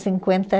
Cinquenta